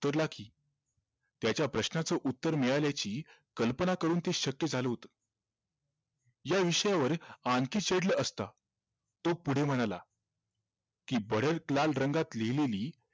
कि त्याच्या प्रश्नाचं उत्तर मिळाल्याची कल्पना करून ते शक्य झालं होत या विषयावर आणखी असत तो पुढे म्हणाला कि भडक लाल रंगात लिहलेली